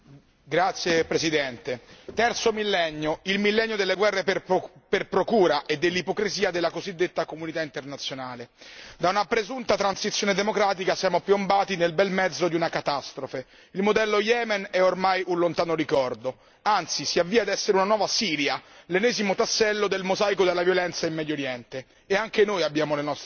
Signor Presidente, onorevoli colleghi, terzo millennio, il millennio delle guerre per procura e dell'ipocrisia della cosiddetta comunità internazionale. Da una presunta transizione democratica siamo piombati nel bel mezzo di una catastrofe. Il modello Yemen è ormai un lontano ricordo, anzi si avvia a essere una nuova Siria, l'ennesimo tassello del mosaico della violenza in Medioriente.